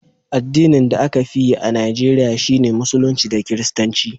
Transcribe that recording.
addinin da a ka fi yi a Najeriya shi ne musulunci da kiristanci